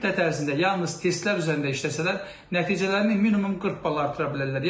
Bu müddət ərzində yalnız testlər üzərində işləsələr nəticələrini minimum 40 bal artıra bilərlər.